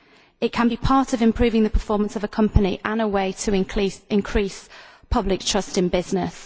It can be part of improving the performance of a company and a way to increase public trust in business.